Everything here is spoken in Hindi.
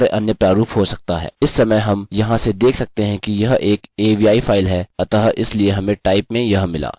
इस समय हम यहाँ से देख सकते हैं कि यह एक avi फाइल है अतः इसलिए हमें type में यह मिला